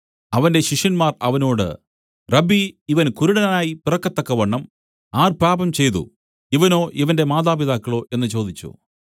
അവന്റെ ശിഷ്യന്മാർ അവനോട് റബ്ബീ ഇവൻ കുരുടനായി പിറക്കത്തക്കവണ്ണം ആർ പാപംചെയ്തു ഇവനോ ഇവന്റെ മാതാപിതാക്കളോ എന്നു ചോദിച്ചു